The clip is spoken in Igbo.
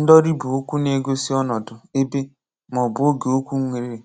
Ndọ̀rí bụ okwu na-egosi ọnọdụ, ebe, ma ọ̀ bụ oge okwu nwere